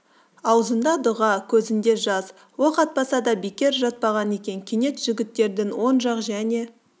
ауызында дұға көзінде жас оқ атпаса да бекер жатпаған екен кенет жігіттердің оң жақ және